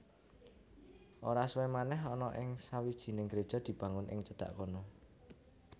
Ora suwé manèh ana sawijining gréja dibangun ing cedhak kono